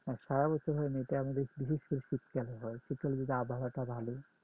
না এটা সারা বছর হয় না এটা আমাদের বিশেষ করে শীতকালে হয় শীতকালে যে আবহাওয়াটা ভালো